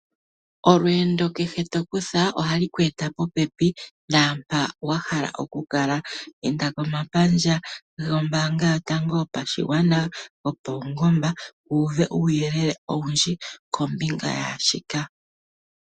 Olweendo kehe tokutha ohalu ku eta popepi naampoka wahala okukala. Inda komapandja gopaungomba, gombaanga yotango yopashigwana, wu uve omawuyelele ngaka.